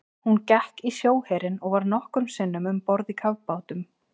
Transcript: Hún gekk í sjóherinn og var nokkrum sinnum um borð í kafbátum.